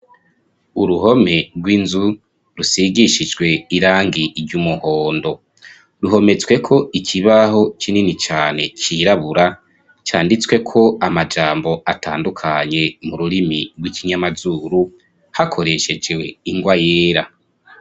Uruhome rw'inzu rusigishijwe irangi iry' umuhondo ruhometsweko ikibaho kinini cane cirabura canditswe ko amajambo atandukanye mu rurimi rw'ikinyamazuru hakoreshejwe ingwa yera.